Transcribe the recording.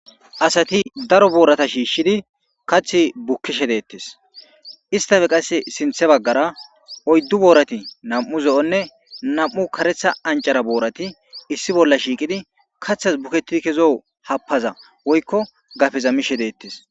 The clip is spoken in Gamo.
Asati daro borata shishshidi kaththi bukishshe detees .issittappe qase sinththe bagara oyiddu borati nam''u zo'onne nam''u kareththa aniccara borati issi bolla shiqqiddi kaththassi bukketidi ke'i happazza woyikko gadezza mishshe detees .